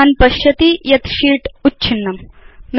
भवान् पश्यति यत् शीत् उच्छिन्नम्